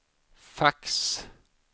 fax